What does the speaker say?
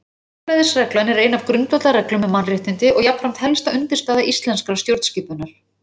Jafnræðisreglan er ein af grundvallarreglum um mannréttindi og jafnframt helsta undirstaða íslenskrar stjórnskipunar.